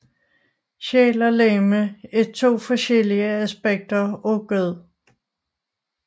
Sjæl og legeme er to forskellige aspekter af gud